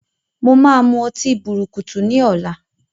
Mo máa mú ọtí bùrùkùtù ni ọ̀la.